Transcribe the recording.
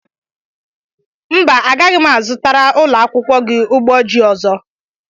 Mba agaghị m azụtara ụlọakwụkwọ gị ụgbọjii ọzọ.